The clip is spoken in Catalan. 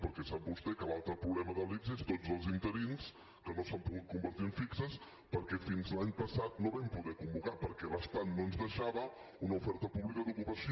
perquè sap vostè que l’altre problema de l’ics són tots els interins que no s’han pogut convertir en fixos perquè fins a l’any passat no vam poder convocar perquè l’estat no ens deixava una oferta pública d’ocupació